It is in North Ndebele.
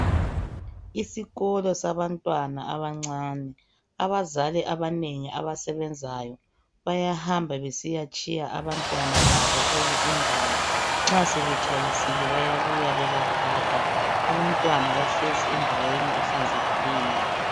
Isikolo sabantwana abancane. Abazali abanengi abasebenzayo bayahamba besiyatshiya abantwana kule indawo, nxa sebetshayisile bayabuya bebathatha. Abantwana bahlezi endaweni ehlanzekileyo.